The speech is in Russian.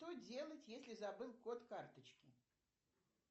что делать если забыл код карточки